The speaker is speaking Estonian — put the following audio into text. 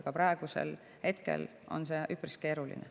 Aga praegu on see üpris keeruline.